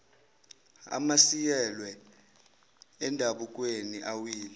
amiselwe endabukweni awile